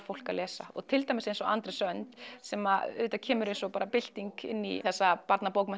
fólk að lesa til dæmis eins og Andrés önd sem auðvitað kemur eins og bara bylting inní þessa